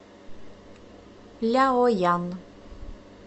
ляоян